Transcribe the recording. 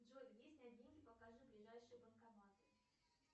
джой покажи ближайшие банкоматы